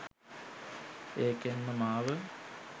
ඒකෙන් මාව